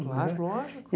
Claro, lógico.